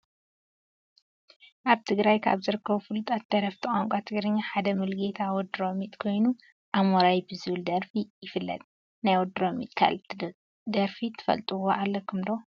ኣብ ትግራይ ካብ ዝርከቡ ፍሉጣት ደረፍቲ ቋንቋ ትግርኛ ሓደ ሙሉጌታ ወዲ ሮሚጥ ኮይኑ ኣሞራይ ብዝብል ደርፊ ይፍለጥ፡፡ ናይ ወዲ ሮሚጥ ካሊእ ደርፊ ትፈልጥዎ ኣለኩም ዶ?